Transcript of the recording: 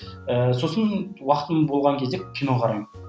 ііі сосын уақытым болған кезде кино қараймын